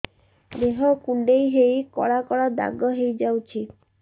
ଦେହ କୁଣ୍ଡେଇ ହେଇ କଳା କଳା ଦାଗ ହେଇଯାଉଛି